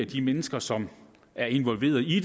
de mennesker som er involveret i